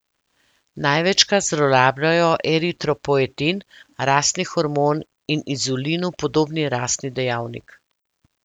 Največkrat zlorabljajo eritropoetin, rastni hormon in inzulinu podobni rastni dejavnik.